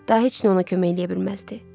Daha heç nə ona kömək eləyə bilməzdi.